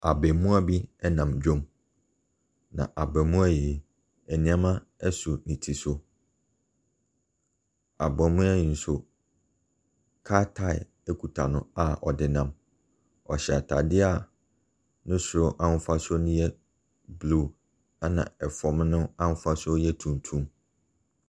Abaamua bi nam dwam, na abaamua yi, nneɛma so ne tiri so. Abaamua yi nso, kaa tire kuta no a ɔde nam. Ɔhyɛ atadeɛ a ne soro ahofasuo no yɛ blue, ɛnna fam no ahofasuo yɛ tuntum.